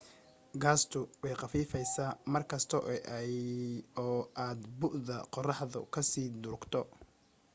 gaastu way khafiifaysa markasta oo aad bu'da qorraxda ka sii durugto